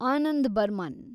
Anand Burman